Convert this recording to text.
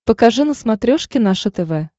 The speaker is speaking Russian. покажи на смотрешке наше тв